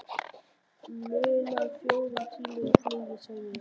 Munar fjórum tímum í flugi sagði ég.